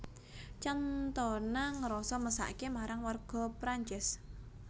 Cantona ngrasa mesake marang warga Prancis